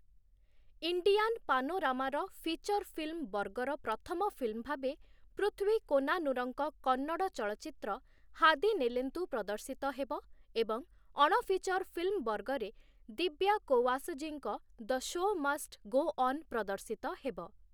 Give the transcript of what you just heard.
Indian ପାନୋରାମାର feature film ବର୍ଗର ପ୍ରଥମ ଫିଲ୍ମ୍ ଭାବେ ପୃଥ୍ୱୀ କୋନାନୁରଙ୍କ କନ୍ନଡ଼ ଚଳଚ୍ଚିତ୍ର 'ହାଦିନେଲେନ୍ତୁ' ପ୍ରଦର୍ଶିତ ହେବ ଏବଂ ଅଣଫିଚର୍ ଫିଲ୍ମ୍ ବର୍ଗରେ ଦିବ୍ୟା କୋୱାସଜୀଙ୍କ 'the show must go on' ପ୍ରଦର୍ଶିତ ହେବ ।